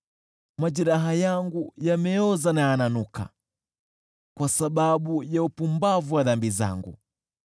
Majeraha yangu yameoza na yananuka, kwa sababu ya upumbavu wa dhambi zangu.